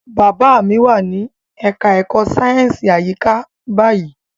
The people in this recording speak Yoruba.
Bàbá mi wà ní ẹka ẹ̀kọ́ sáyẹnsì àyíká báyìí.